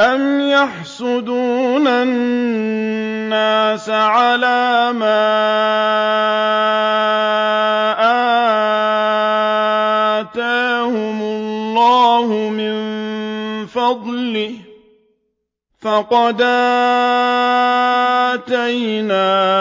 أَمْ يَحْسُدُونَ النَّاسَ عَلَىٰ مَا آتَاهُمُ اللَّهُ مِن فَضْلِهِ ۖ فَقَدْ آتَيْنَا